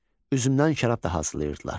Üzümdən şərab da hazırlayırdılar.